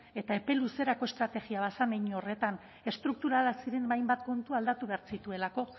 eta epe luzerako estrategia bat zen hein horretan estrukturalak ziren hainbat kontu aldatu behar zituelako